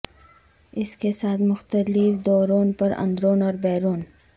اس کے ساتھ مختلف دورون پر اندرون اور بیرون